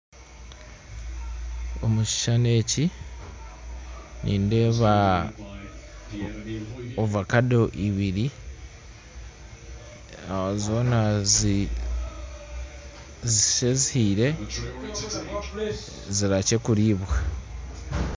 Omu kishushani eki, nindeeba ovakedo ibiri zoona ziri nka ezihiire zirihakye kuriibwa.